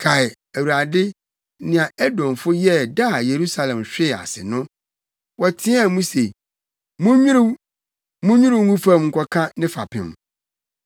Kae, Awurade, nea Edomfo yɛɛ da a Yerusalem hwee ase no. Wɔteɛɛ mu se, “Munnwiriw, munnwiriw ngu fam nkɔka ne fapem!”